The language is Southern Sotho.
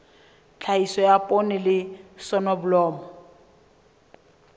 tlhahiso ya poone le soneblomo